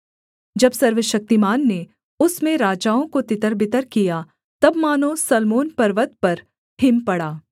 जब सर्वशक्तिमान ने उसमें राजाओं को तितरबितर किया तब मानो सल्मोन पर्वत पर हिम पड़ा